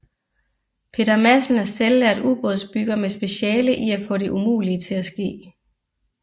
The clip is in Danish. Peter Madsen er selvlært ubådsbygger med speciale i at få det umulige til at ske